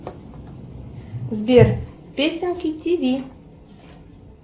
сбер песенки тв